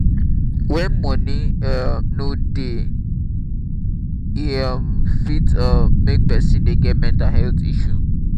when money um no dey e um fit um make person dey get mental health issue